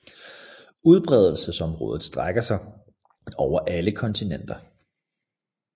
Udbredelsesområdet strækker sig over alle kontinenter